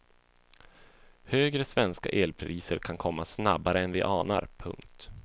Högre svenska elpriser kan komma snabbare än vi anar. punkt